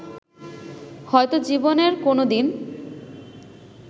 হয়তো জীবনে কোন দিন